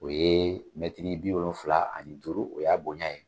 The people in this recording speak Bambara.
O ye mɛtiri bi wolonfila ni duuru o y'a bonya ye.